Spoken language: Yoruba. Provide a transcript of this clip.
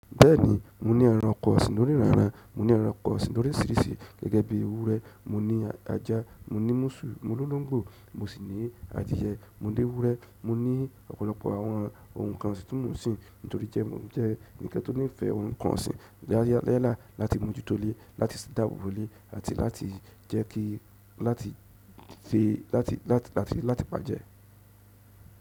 Bẹ́ẹ̀ni, mo ní ẹranko ọ̀sín loníranran, mo ní ẹranko ọ̀sìn lorísírìsí gẹ́gẹ́ bí ewúrẹ́, mo ní ajá, mo ní múṣù, mo ló lóńgbò, mo sì ní adìẹ, mo lé ewúrẹ́, mo ní ọ̀pọ̀lọpọ̀ àwọn ohun kan ọ̀sìn tí mò ń sìn nítorí jẹ́ mo jẹ́ ẹni tí ó nífẹ̀ẹ́ ohun kan ọ̀sìn lálẹ́ yẹn láti mójútó le, láti ṣí dáàbò bo le àti láti jẹ́ kí, láti fi, láti, láti pàjẹ́.